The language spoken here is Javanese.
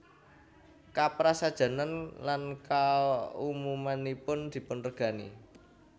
Kaprasajanan lan kaumumanipun dipunregani